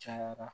Cayara